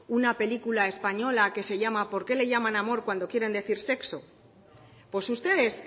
una película española que se llama por qué lo llaman amor cuando quieren decir sexo pues ustedes